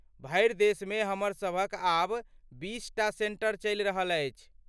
भरि देशमे हमरसभक आब बीसटा सेंटर चलि रहल अछि।